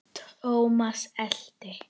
Thomas elti.